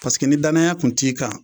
Paseke ni daya kun t'i kan